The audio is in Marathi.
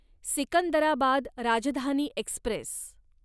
सिकंदराबाद राजधानी एक्स्प्रेस